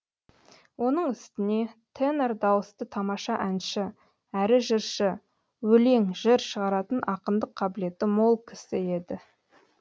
оның үстіне тенор дауысты тамаша әнші әрі жыршы өлең жыр шығаратын ақындық қабілеті мол кісі еді